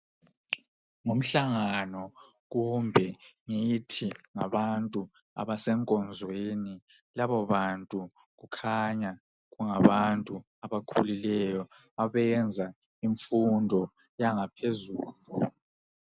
Ngumhlangano, kumbe lithi ngabantu abasenkonzweni labobantu kukhanya kungabantu abakhulileyo, abenza imfundo yangaphezulu.